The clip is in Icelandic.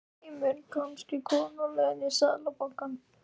Heimir: Kannski kona á leiðinni í Seðlabankann?